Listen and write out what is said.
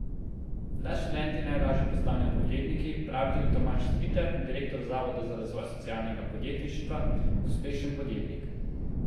Da študenti najlaže postanejo podjetniki, pravi tudi Tomaž Stritar, direktor Zavoda za razvoj socialnega podjetništva Uspešen podjetnik.